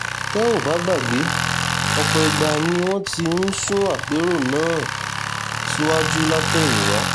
tẹ́ ò bá gbàgbé ọ̀pọ̀ ìgbà ni wọ́n ti ń sún àpérò náà síwájú látẹ̀yìnwá